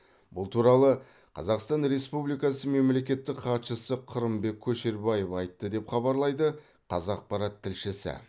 бұл туралы қазақстан республикасы мемлекеттік хатшысы қырымбек көшербаев айтты деп хабарлайды қазақпарат тілшісі